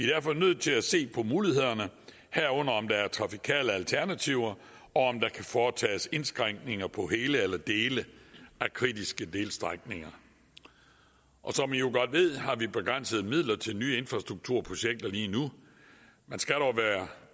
derfor nødt til at se på mulighederne herunder om der er trafikale alternativer og om der kan foretages indskrænkninger på hele eller dele af kritiske delstrækninger som i jo godt ved har vi begrænsede midler til nye infrastrukturprojekter lige nu man skal dog være